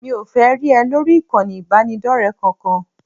Mi ò fẹ́ rí ẹ lórí ìkànnì ìbánidọ́rẹ̀ẹ́ kankan